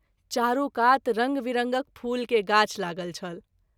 चारू कात रंग विरंगक फूल के गाछ लागल छल।